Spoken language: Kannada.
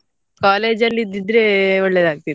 College ಅಲ್ಲಿ ಇದ್ದಿದ್ರೆ ಒಳ್ಳೆದಾಗ್ತಿತ್ತು.